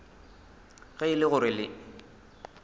ge e le gore le